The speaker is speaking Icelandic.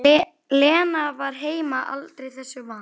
Lena var heima aldrei þessu vant.